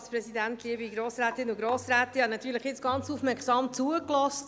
Ich habe jetzt natürlich sehr aufmerksam zugehört.